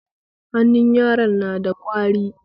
Hannun yaron na da kauri